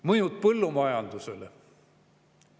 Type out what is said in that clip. Mõjud põllumajandusele.